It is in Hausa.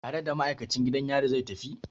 Tare da ma'aikacin gidan yari zai tafi?